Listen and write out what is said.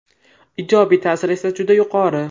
Ijobiy ta’siri esa juda yuqori.